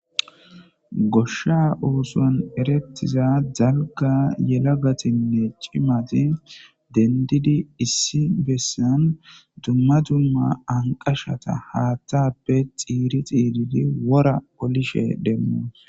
Goshsha oothon erettiza dalga yelagatinne cimati dendidi dendidi issi bessan dumma dumma anqashata haatheppe xiiri xiiridi wora halishin demmoos.